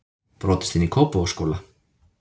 Brotist inn í Kópavogsskóla